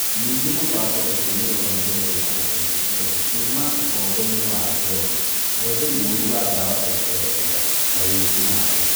Ningĩ mũbango ũcio nĩ ũhonoketie andũ aingĩ ethĩ kuuma ũkombo-inĩ wa njohi, ũhũthĩri mũũru wa ndawa cia kũrebia, na wĩki-naĩ.